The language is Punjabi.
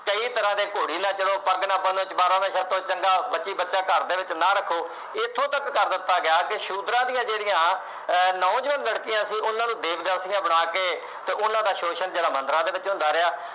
ਕਈ ਤਰ੍ਹਾਂ ਦੇ ਘੋੜੇ ਲੈ ਚੱਲੋ, ਪੱਗ ਨਾ ਬੰਨ੍ਹੋ, ਚੰਮਿਆਰਾਂ ਦੇ ਸਿਰ ਤੋਂ ਚੰਗਾ, ਬੱਚੀ-ਬੱਚਾ ਘਰ ਦੇ ਵਿੱਚ ਨਾ ਰੱਖੋ, ਇੱਥੋ ਤੱਕ ਕਰ ਦਿੱਤਾ ਗਿਆ, ਸ਼ੂਦਰਾਂ ਦੀਆਂ ਜਿਹੜੀਆਂ ਅਹ ਨੌਜਵਾਨ ਲੜਕੀਆਂ ਸੀ ਉਹਨਾ ਨੂੰ ਬਣਾ ਕੇ ਅਤੇ ਉੇਹਨਾ ਦਾ ਸ਼ੋਸ਼ਣ ਜਿਹੜਾ ਮੰਦਿਰਾਂ ਦੇ ਵਿੱਚ ਹੁੰਦਾ ਰਿਹਾ।